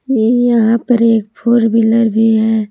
ये यहां पर एक फोर व्हीलर भी है।